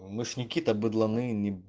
никита быдланы